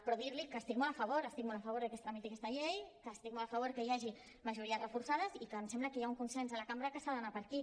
però dir li que hi estic molt a favor estic molt a favor de que es tramiti aquesta llei que estic molt a favor que hi hagi majories reforçades i que em sembla que hi ha un consens a la cambra que s’ha d’anar per aquí